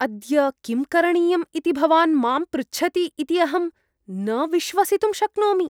अद्य किं करणीयम् इति भवान् मां पृच्छति इति अहं न विश्वसितुं शक्नोमि।